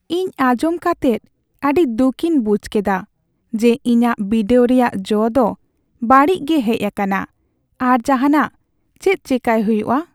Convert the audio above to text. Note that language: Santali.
ᱤᱧ ᱟᱸᱡᱚᱢ ᱠᱟᱛᱮᱫ ᱟᱹᱰᱤ ᱫᱩᱠᱷᱤᱧ ᱵᱩᱡᱷ ᱠᱮᱫᱟ ᱡᱮ ᱤᱧᱟᱜ ᱵᱤᱰᱟᱹᱣ ᱨᱮᱭᱟᱜ ᱡᱚ ᱫᱚ ᱵᱟᱹᱲᱤᱡ ᱜᱮ ᱦᱮᱡ ᱟᱠᱟᱱᱟ ᱾ ᱟᱨ ᱡᱟᱦᱟᱱᱟᱜ ᱪᱮᱫ ᱪᱮᱠᱟᱭ ᱦᱩᱭᱩᱜᱼᱟ ?